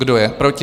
Kdo je proti?